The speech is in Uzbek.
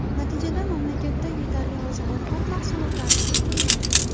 Natijada mamlakatda yetarli oziq-ovqat mahsulotlari kiritilmayapti.